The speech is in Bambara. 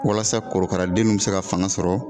Walasa korokaradenw bɛ se ka fanga sɔrɔ